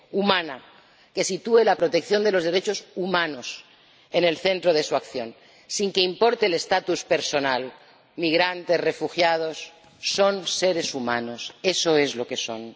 Humana, que sitúe la protección de los derechos humanos en el centro de su acción, sin que importe el estatus personal los migrantes, los refugiados son seres humanos, eso es lo que son.